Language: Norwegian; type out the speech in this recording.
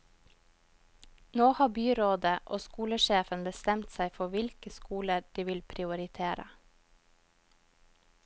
Nå har byrådet og skolesjefen bestemt seg for hvilke skoler de vil prioritere.